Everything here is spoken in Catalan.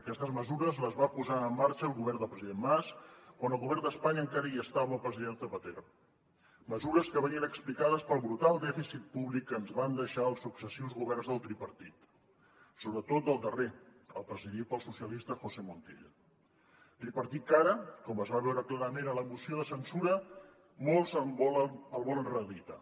aquestes mesures les va posar en marxa el govern del president mas quan al govern d’espanya encara hi estava el president zapatero mesures que venien explicades pel brutal dèficit públic que ens van deixar els successius governs del tripartit sobretot del darrer el presidit pel socialista josé montilla tripartit que ara com es va veure clarament en la moció de censura molts volen reeditar